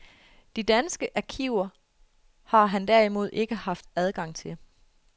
De danske arkiver har han derimod ikke haft adgang til.